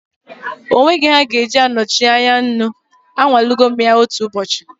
There will never be an alternative recipe for salt, I have tried cooking without it before.